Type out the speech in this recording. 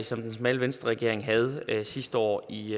som den smalle venstreregering havde sidste år i